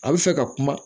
A bɛ fɛ ka kuma